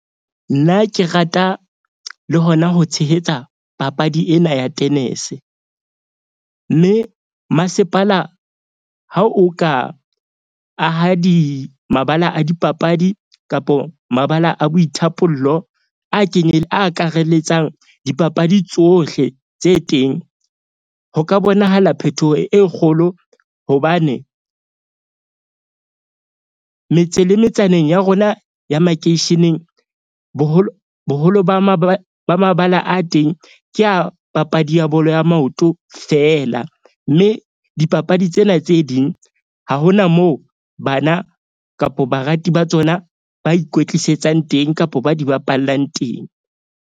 Nna ke rata le hona ho tshehetsa papadi ena ya tenese. Mme masepala ha o ka aha mabala a dipapadi kapo mabala a boithapollo, a a akaraletsang dipapadi tsohle tse teng. Ho ka bonahala phetoho e kgolo hobane metse le metsaneng ya rona ya makeisheneng boholo ba ba mabala a teng ke a papadi ya bolo ya maoto fela. Mme dipapadi tsena tse ding ha hona moo bana kapo barati ba tsona ba ikwetlisetsang teng kapo ba di bapallang teng.